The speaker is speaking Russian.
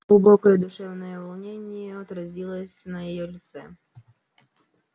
глубокое душевное волнение отразилось на её лице